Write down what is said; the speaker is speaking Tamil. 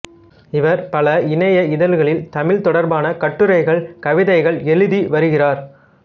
இவர் பல இணைய இதழ்களில் தமிழ் தொடர்பான கட்டுரைகள் கவிதைகள் எழுதி வருகிறார்